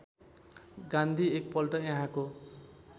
गान्धी एकपल्ट यहाँको